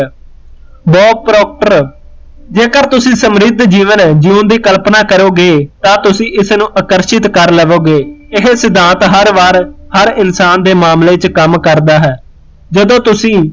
bob Proctor ਜੇਕਰ ਤੁਸੀਂ ਸਮਰਿਧ ਜੀਵਨ ਜਿਉਂਣ ਦੀ ਕਲਪਨਾ ਕਰੋਗੇ ਤਾ ਤੁਸੀਂ ਇਸਨੂੰ ਆਕਰਸ਼ਿਤ ਕਰ ਲਵੋਗੇ ਇਹ ਸਿਧਾਂਤ ਹਰ ਵਾਰ ਹਰ ਇਨਸਾਨ ਦੇ ਮਾਮਲੇ ਵਿਚ ਕੰਮ ਕਰਦਾ ਹੈ, ਜਦੋ ਤੁਸੀਂ